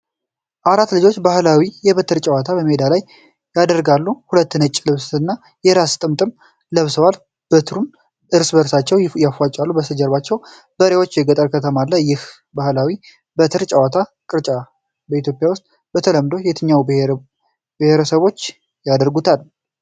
አራት ልጆች ባህላዊ የበትር ጨዋታ በሜዳ ላይ ያደርጋሉ። ሁሉም ነጭ ልብስና የራስ ጥምጥም ለብሰዋል። በትሩን እርስ በእርስ ያፋጥጣሉ። ከበስተጀርባ በሬዎችና ገጠር ከተማ አለ። ይህ ባህላዊ የበትር ጨዋታ (ቅርጫ) በኢትዮጵያ ውስጥ በተለምዶ የትኞቹ ብሔረሰቦች ያደርጉታል?